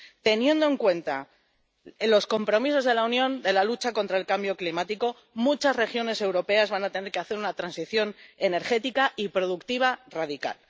teniendo en cuenta los compromisos de la Unión en la lucha contra el cambio climático, muchas regiones europeas van a tener que hacer una transición energética y productiva radical.